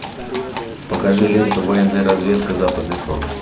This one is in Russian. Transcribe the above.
покажи ленту военная разведка западный фронт